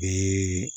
Bi